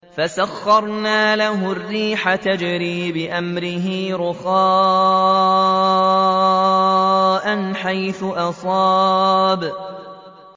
فَسَخَّرْنَا لَهُ الرِّيحَ تَجْرِي بِأَمْرِهِ رُخَاءً حَيْثُ أَصَابَ